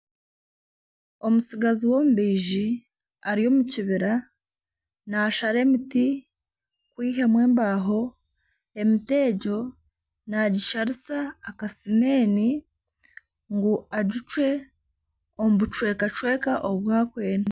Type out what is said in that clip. Omutsigazi w'omubaizi ari omu kibira naashara emiti kwihamu embaho emiti egyo nagisharisa akasimeeni ngu agicwe omu buchwekacheka obu arikwenda